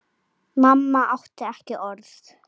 Mamma átti ekki orð.